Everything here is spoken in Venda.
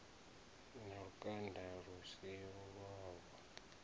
na lukanda lu si lwavhu